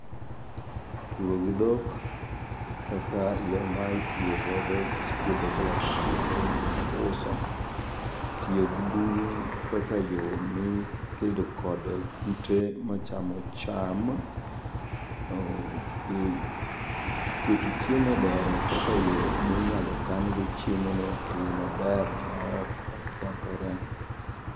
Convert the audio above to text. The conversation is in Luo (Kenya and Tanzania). Puro gi dhok kaka iyaomae purogodo puodho kiloso mondo kom kendo buso. Tiyo gi buru kaka yo mi kedo kode kute ma chamo cham. uh Be keto chiemo e dero kaka yo minyalo kan go chiemo no e yo maber ma ok okethore.